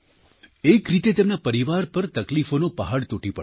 એક રીતે તેમના પરિવાર પર તકલીફોનો પહાડ તૂટી પડ્યો